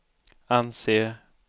anser